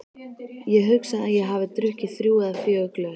Ég hugsa að ég hafi drukkið þrjú eða fjögur glös.